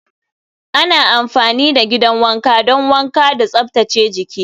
Ana amfani da gidan wanka don wanka da tsaftace jiki.